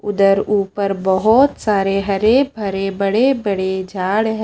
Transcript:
उधर ऊपर बहुत सारे हरे भरे बड़े-बड़े झाड़ हैं।